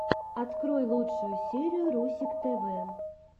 открой лучшую серию русик тв